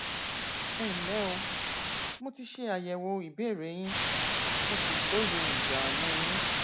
ẹnlẹ o mo ti ṣe àyẹwò ìbéèrè yín mo sì lóye ìdààmú yín